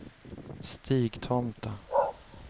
Stigtomta